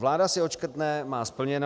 Vláda si odškrtne, má splněno.